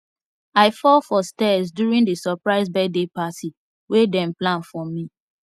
i fall for stairs during the surprise birthday party wey dem plan for me